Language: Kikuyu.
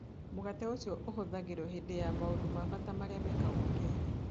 Mũgate ũcio ũhũthagĩrũo hĩndĩ ya maũndũ ma bata marĩa mekagwo Kenya.